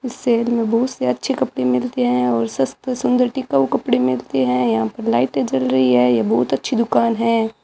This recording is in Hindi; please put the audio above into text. इस शहर में बहुत से अच्छे कपड़े मिलते हैं और सस्ते सुंदर टिकाऊ कपड़े मिलते हैं यहां पर लाइटें जल रही है ये बहुत अच्छी दुकान है